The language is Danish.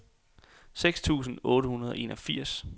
seks tusind otte hundrede og enogfirs